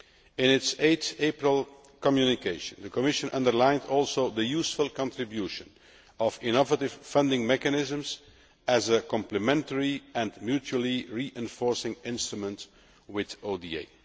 In its 8 April communication, the Commission also underlined the useful contribution of innovative funding mechanisms as a complementary and mutually reinforcing instrument with ODA.